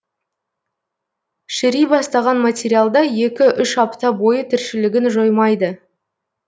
шіри бастаған материалда екі үш апта бойы тіршілігін жоймайды